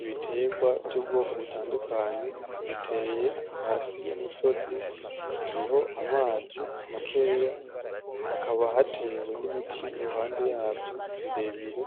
Ibiterwa byubwoko butandukanye, biteye hasi y'umusozi hariho amazi makeya hakaba hatewe n'ibiti iruhande yavyo birebire